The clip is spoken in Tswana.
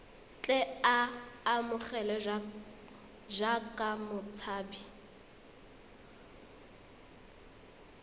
tle a amogelwe jaaka motshabi